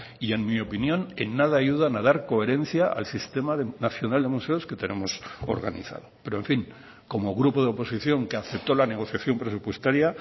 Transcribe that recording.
y en mi opinión en nada ayudan a dar coherencia al sistema nacional de museos que tenemos organizado pero en fin como grupo de oposición que acepto la negociación presupuestaria